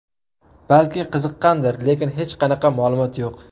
Balki qiziqqandir, lekin hech qanaqa ma’lumot yo‘q.